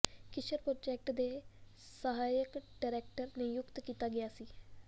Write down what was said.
Kissinger project ਦੇ ਸਹਾਇਕ director ਨਿਯੁਕਤ ਕੀਤਾ ਗਿਆ ਸੀ